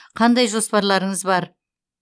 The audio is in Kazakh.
қандай жоспарларыңыз бар